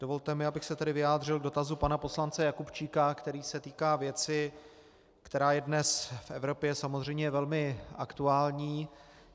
Dovolte mi, abych se tedy vyjádřil k dotazu pana poslance Jakubčíka, který se týká věci, která je dnes v Evropě samozřejmě velmi aktuální.